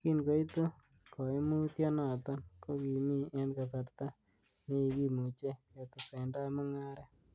Kin koitu koimutionoton, ko kimi en kasarta nekikimuche ketesendai mung'aret.